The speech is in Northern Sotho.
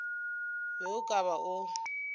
be o ka ba o